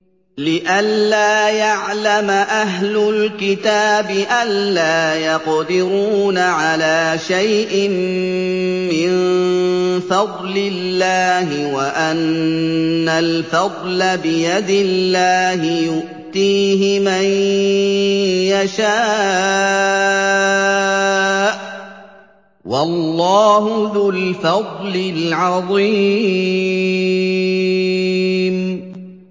لِّئَلَّا يَعْلَمَ أَهْلُ الْكِتَابِ أَلَّا يَقْدِرُونَ عَلَىٰ شَيْءٍ مِّن فَضْلِ اللَّهِ ۙ وَأَنَّ الْفَضْلَ بِيَدِ اللَّهِ يُؤْتِيهِ مَن يَشَاءُ ۚ وَاللَّهُ ذُو الْفَضْلِ الْعَظِيمِ